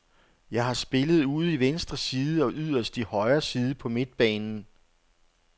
Jeg har spillet ude i venstre side og yderst i højre side på midtbanen.